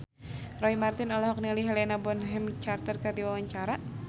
Roy Marten olohok ningali Helena Bonham Carter keur diwawancara